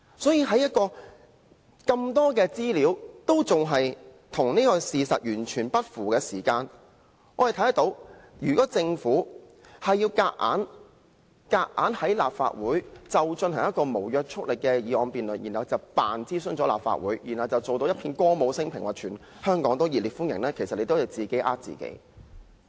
所以，在有這麼多資料與事實完全不符的時候，如果政府硬要在立法會進行一項無約束力的議案辯論，接着裝作已諮詢了立法會，然後展現一片歌舞昇平的景象，聲稱香港熱烈歡迎"一地兩檢"安排，其實是自己欺騙自己。